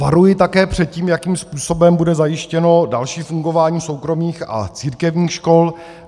Varuji také před tím, jakým způsobem bude zajištěno další fungování soukromých a církevních škol.